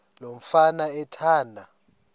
lo mfana athanda